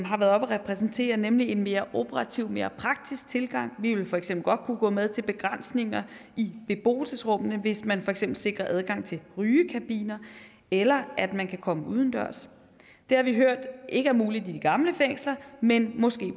har været oppe at repræsentere nemlig en mere operativ mere praktisk tilgang vi vil for eksempel godt kunne gå med til begrænsninger i beboelsesrummene hvis man for eksempel sikrer adgang til rygekabiner eller at man kan komme udendørs det har vi hørt ikke er muligt i de gamle fængsler men måske i